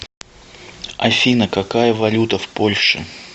афина какая валюта в польше